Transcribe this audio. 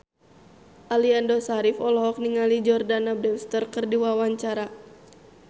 Aliando Syarif olohok ningali Jordana Brewster keur diwawancara